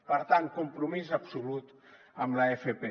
per tant compromís absolut amb l’fp